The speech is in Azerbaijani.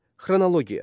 Xronologiya.